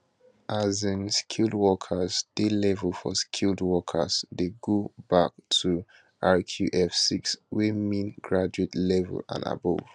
um skilled workers di level for skilled workers dey go bac to rqf 6 wey mean graduate level and above